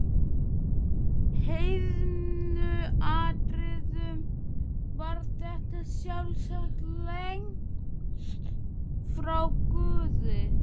heiðnu atriðum var þetta sjálfsagt lengst frá guði.